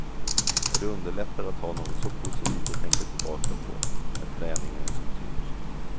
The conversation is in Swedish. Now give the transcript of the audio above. Och det underlättar att ha något så positivt att tänka tillbaka på när träningen är som tyngst.